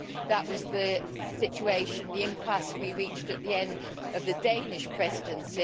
That was the situation the impasse we reached at the end of the Danish Presidency.